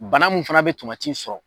Bana mun fana be tomati sɔrɔ